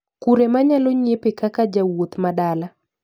Kure manyalo nyiepe kaka jawuoth madala